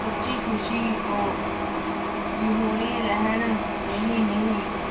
ਸੱਚੀ ਖ਼ੁਸ਼ੀ ਤੋਂ ਵਿਹੁਣੇ ਰਹਿਣ, ਨਹੀਂ ਨਹੀਂ।